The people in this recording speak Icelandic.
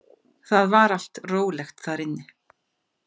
Það var allt rólegt þar inni.